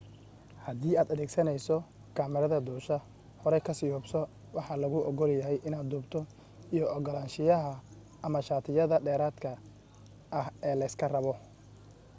hadii aad adeegsanayso kamarada duusha horey ka sii hubso waxa laguu ogolyahay inaad duubto iyo ogolaanshiyaha ama shatiyada dheeraadka ah ee layska rabo